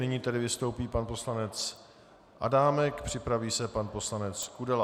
Nyní tedy vystoupí pan poslanec Adámek, připraví se pan poslanec Kudela.